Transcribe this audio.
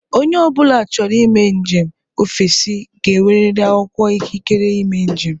Onye ọ bụla chọrọ ime njem ofesi ga-enweriri akwụkwọ ikikere ime njem